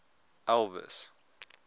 elvis